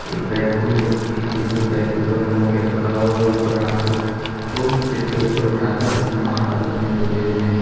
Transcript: एक पैर को दूसरे पर के ऊपर मोड़ के रखा हुआ है और ऊपर हाथों को सिर के ऊपर उठाकर दोनों हाथ आपस में जोड़े हुए हैं।